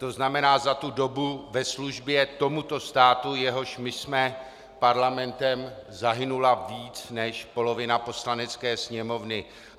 To znamená, za tu dobu ve službě tomuto státu, jehož my jsme parlamentem, zahynula více než polovina Poslanecké sněmovny.